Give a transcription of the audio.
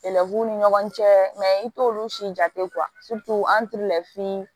Kɛlɛ b'u ni ɲɔgɔn cɛ mɛ i t'olu si jate an t'olu lafili